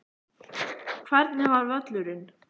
Hvernig var völlurinn?